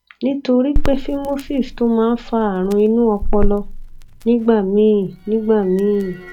nítorí pé phimosis tún máa ń fa àrùn inú ọpọlọ nígbà míì nígbà míì